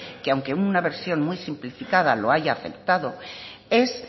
que aunque en una versión muy simplificada lo haya aceptado es